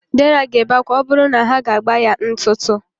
Dera ga-ebe akwa ma ọ bụrụ na ha agba ya ntụtụ.